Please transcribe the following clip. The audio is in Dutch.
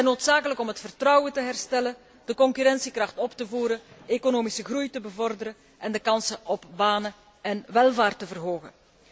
Ze zijn noodzakelijk om het vertrouwen te herstellen, de concurrentiekracht op te voeren, economische groei te bevorderen, en de kansen op banen en welvaart te verhogen.